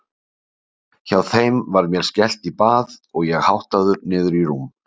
Hjá þeim var mér skellt í bað og ég háttaður niður í rúm.